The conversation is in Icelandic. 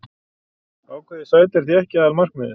Ákveðið sæti er því ekki aðalmarkmiðið.